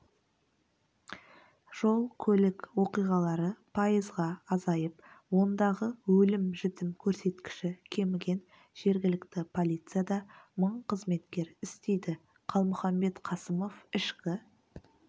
жол-көлік оқиғалары пайызға азайып ондағы өлім-жітім көрсеткіші кеміген жергілікті полицияда мың қызметкер істейді қалмұханбет қасымов ішкі